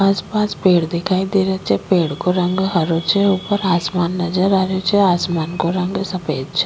आस पास पेड़ दिखाई दे रा छे पेड़ को रंग हरो छे ऊपर आसमान नजर आ रो छे आसमान को रंग सफेद छे।